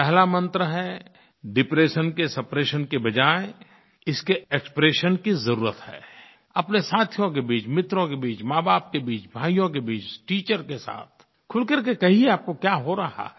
पहला मंत्र है डिप्रेशन के सप्रेशन की बजाय इसके एक्सप्रेशन की ज़रूरत है अपने साथियों के बीच मित्रों के बीच माँबाप के बीच भाइयों के बीच टीचर के साथ खुल कर के कहिए आपको क्या हो रहा है